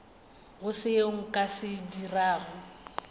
go seo nka se dirago